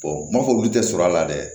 m'a fɔ olu tɛ sɔrɔ a la dɛ